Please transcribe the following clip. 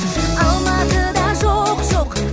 алматыда жоқ жоқ